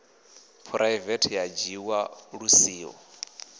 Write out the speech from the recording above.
phuraivethe a dzhiwa lu siho